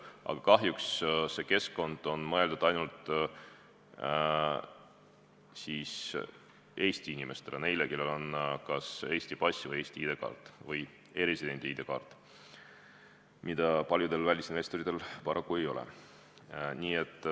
Aga kahjuks on see keskkond mõeldud ainult Eesti inimestele, neile, kellel on kas Eesti pass, Eesti ID-kaart või e-residendi ID-kaart, mida paljudel välisinvestoritel paraku ei ole.